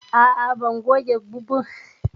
A'a, ban tuƙa bumper car ba.